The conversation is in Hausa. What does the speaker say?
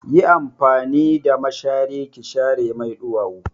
Yi amfani da mashari ki share mai ɗuwawu!